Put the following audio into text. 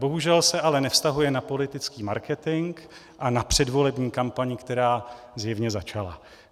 Bohužel se ale nevztahuje na politický marketing a na předvolební kampaň, která zjevně začala.